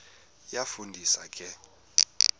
iyafu ndisa ke